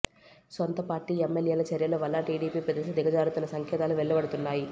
సొంత పార్టీ ఎమ్మెల్యేల చర్యల వల్ల టీడీపీ ప్రతిష్ఠ దిగజారుతున్న సంకేతాలు వెల్లడవుతున్నాయి